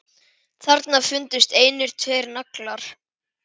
Þarna fundust einnig tveir naglar.